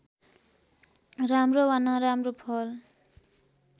राम्रो वा नराम्रो फल